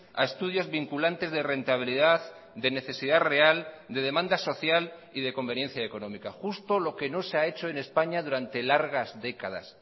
a estudios vinculantes de rentabilidad de necesidad real de demanda social y de conveniencia económica justo lo que no se ha hecho en españa durante largas décadas